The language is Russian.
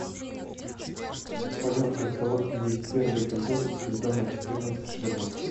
в твоем каталоге есть первый эпизод сезона четырнадцать шерлок